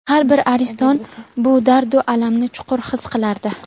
har bir ariston bu dardu alamni chuqur his qilardi.